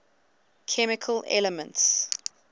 chemical elements